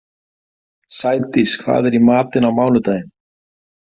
Sædís, hvað er í matinn á mánudaginn?